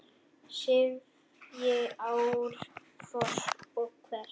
sifji árfoss og hvers!